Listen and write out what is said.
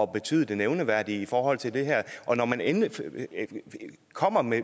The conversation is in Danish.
betyde det nævneværdige i forhold til det her og når man endelig kommer med